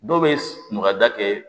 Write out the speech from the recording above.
Dɔw bɛ maka da kɛ